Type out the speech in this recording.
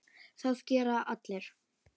Það gera allir.